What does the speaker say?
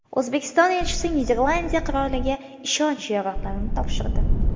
O‘zbekiston elchisi Niderlandiya qiroliga ishonch yorliqlarini topshirdi.